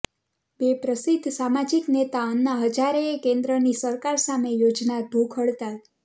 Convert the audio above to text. ર પ્રસિદ્ધ સામાજિક નેતા અન્ના હઝારેએ કેન્દ્રની સરકાર સામે યોજાનાર ભૂખ હડતાળ